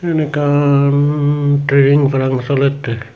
siyen ekkan trening parang solette.